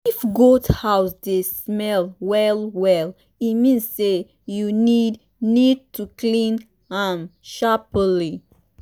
if goat house dey smell well well e mean say you need need to clean am sharperly.